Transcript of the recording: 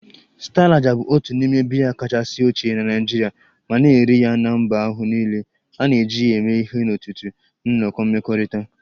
Star lager bụ otu n'ime biya kachasị ochie na Nigeria ma na-eri ya na mba ahụ niile, a na-eji ya eme ihe n'ọtụtụ nnọkọ mmekọrịta